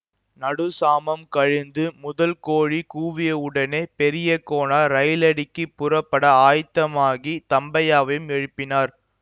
நடுச் சாமம் கழிந்து முதல் கோழி கூவியவுடனே பெரிய கோனார் ரயிலடிக்குப் புறப்பட ஆயத்தமாகித் தம்பையாவையும் எழுப்பினார்